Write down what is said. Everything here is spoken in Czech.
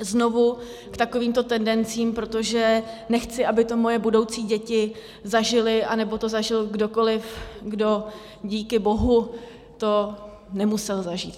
znovu k takovýmto tendencím, protože nechci, aby to moje budoucí děti zažily, anebo to zažil kdokoliv, kdo díky bohu to nemusel zažít.